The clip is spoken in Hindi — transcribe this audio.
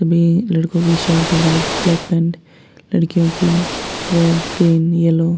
तभी लड़कों की शर्ट है व्हाइट ब्लैक पैंट लड़कियों की रेड ग्रीन येलो ।